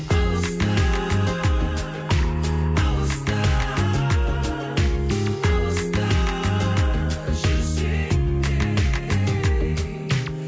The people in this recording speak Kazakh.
алыста алыста алыста жүрсең де ей